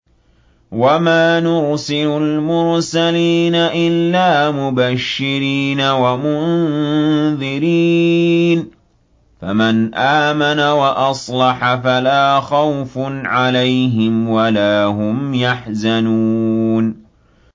وَمَا نُرْسِلُ الْمُرْسَلِينَ إِلَّا مُبَشِّرِينَ وَمُنذِرِينَ ۖ فَمَنْ آمَنَ وَأَصْلَحَ فَلَا خَوْفٌ عَلَيْهِمْ وَلَا هُمْ يَحْزَنُونَ